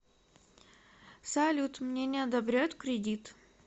салют мне не одобряют кредит